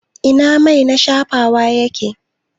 Ina mai na shafawa yake?